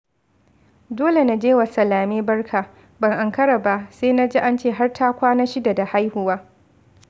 Dole na je wa Salame barka, ban ankaraba sai na ji ance har ta kwana shida da haihuwa